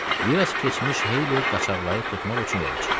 Biraz keçmiş Heyli qaçaqları tutmaq üçün yola çıxdı.